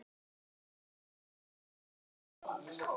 Þín dóttir, Edda.